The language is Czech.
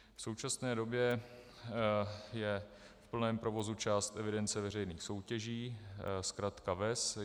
V současné době je v plném provozu část evidence veřejných soutěží, zkratka VES.